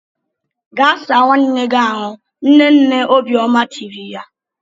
Gaa saa nwanne gị ahụ! Nne nne Obiọma tiri ya.